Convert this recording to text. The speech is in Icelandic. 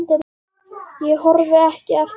Ég horfi ekki eftir þér.